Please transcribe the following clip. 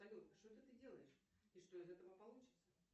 салют что это ты делаешь и что из этого получится